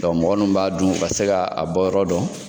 mɔgɔ munnu b'a dun, u ka se ka a bɔ yɔrɔ dɔn.